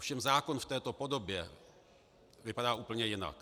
Ovšem zákon v této podobě vypadá úplně jinak.